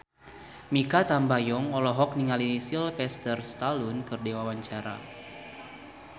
Mikha Tambayong olohok ningali Sylvester Stallone keur diwawancara